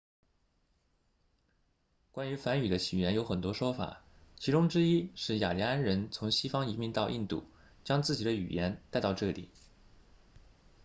关于梵语的起源有很多说法其中之一是雅利安人从西方移民到印度将自己的语言带到这里